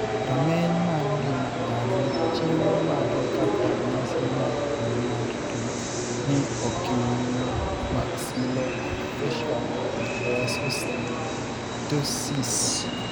Rameny mar ng'ima dhano chiwo magi kaka ranyisi mar tuo mar tuo ni Oculomaxillofacial dysostosis.